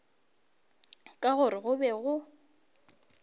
ka gore go be go